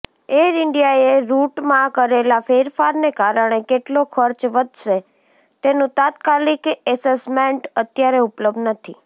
air ઇન્ડિયાએ રૂટમાં કરેલા ફેરફારને કારણે કેટલો ખર્ચ વધશે તેનું તાત્કાલિક એસેસમેન્ટ અત્યારે ઉપલબ્ધ નથી